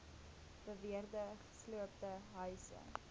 beweerde gesloopte huise